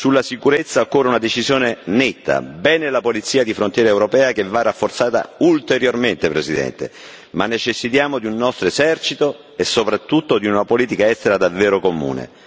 Sulla sicurezza, occorre una decisione netta bene la polizia di frontiera europea, che va rafforzata ulteriormente, Presidente, ma necessitiamo di un nostro esercito e soprattutto di una politica estera davvero comune.